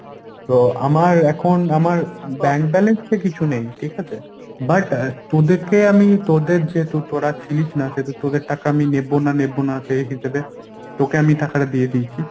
তো আমার এখন আমার bank balance এ কিছু নেই। ঠিকাছে? but তোদেরকে আমি তোদের যেহেতু তোরা ছিলিস না সেহেতু তোদের টাকা আমি নেব না নেব না সেই হিসেবে তোকে আমি টাকাটা দিয়ে দিয়েছি।